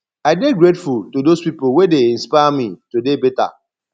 i dey grateful to dose pipo wey dey inspire me to dey beta